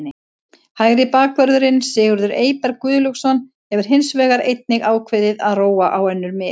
Hægri bakvörðurinn Sigurður Eyberg Guðlaugsson hefur hins vegar einnig ákveðið að róa á önnur mið.